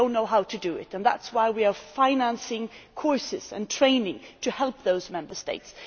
They do not know how to do it, which is why we are financing courses and training to help those Member States.